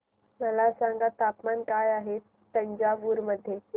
मला सांगा तापमान काय आहे तंजावूर मध्ये